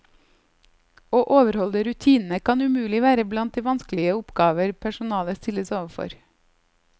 Å overholde rutinene kan umulig være blant de vanskelige oppgaver personalet stilles overfor.